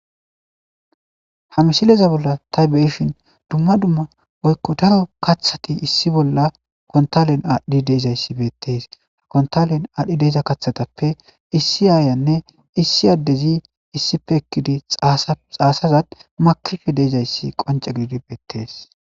Hamsileza bolla taybeshin dumma dumma oykko daro kaththati issi bolla kontalen aadhdhi deezayssi beettees ha kontalen aadhdhi deeza kaththatappe issi aayanne issi addezi issife ekkidi xaasazad makife deezayssi qonce gidi beettees.